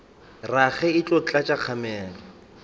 rage e tlo tlatša kgamelo